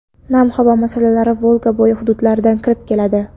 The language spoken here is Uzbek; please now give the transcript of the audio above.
Nam havo massalari Volga bo‘yi hududlaridan kirib keladi.